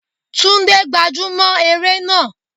Túndé gbájú mọ́ eré náà.